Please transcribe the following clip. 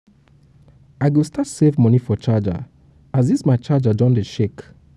i go start save money for charger as this my charger don dey shake